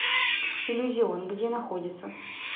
иллюзион где находится